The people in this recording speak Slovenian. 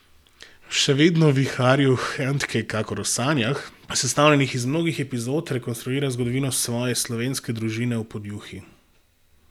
V Še vedno viharju Handke kakor v sanjah, sestavljenih iz mnogih epizod, rekonstruira zgodovino svoje slovenske družine v Podjuni.